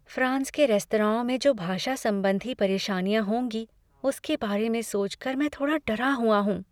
France के रेस्तराओं में जो भाषा संबंधी परेशानियाँ होंगी उसके बारे में सोच कर मैं थोड़ा डरा हुआ हूँ।